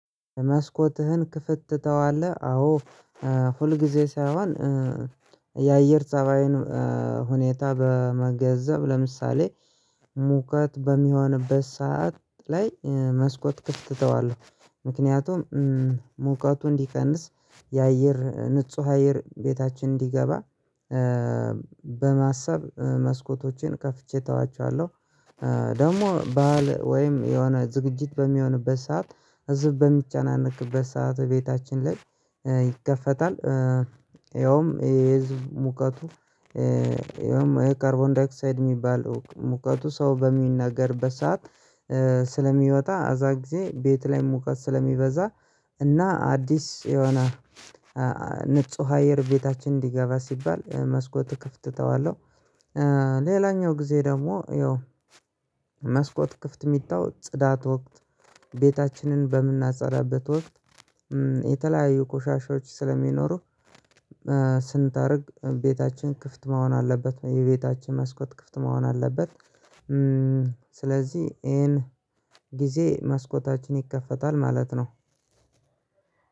መስኮትህን ክፍት ትተዋለህ? አዎ። ሁልጊዜ ሳይሆን የአየር ጸባይን ሁኔታ በመገንዘብ ለምሳሌ ሙቀት በሚሆንበት ሰዓት ላይ መስኮት ክፍት እተዋለሁ ምክንያቱም ሙቀቱ እንዲቀንስ የአየር ንጹህ አየር ቤታችን እንዲገባ በማሰብ መስኮቶችን ከፍቼ ተዋቸዋለሁ። ደግሞ በዓል ወይም የሆነ ዝግጅት በሚሆንበት ሰዓት ህዝብ በሚጨናነቅበት ሰዓት ቤታችን ላይ ይከፈታል። ያውም የህዝብ ሙቀቱ ያውም የካርቦን ዳይክሳይድ እሚባለው ሙቀቱ ሰው በሚናገርበት ሰዓት ስለሚወጣ አዛ ጊዜ ቤት ላይ ሙቀት ስለሚበዛ እና አዲስ የሆነ ንጹህ አየር ቤታችን እንዲገባ ሲባል መስኮት ክፍት ተዋለሁ። ሌላኛው ጊዜ ደግሞ ያው መስኮት ክፍት እሚተው ጽዳት ወቅት ቤታችንን በምናጸዳበት ወቅት የተለያዩ ቆሻሻዎች ስለሚኖሩ ስንጠርግ ቤታችን ክፍት መሆን አለበት የቤታችን መስኮት ክፍት መሆን አለበት። ስለዚህ ይሄን ጊዜ መስኮታችን ይከፈታል ማለት ነው።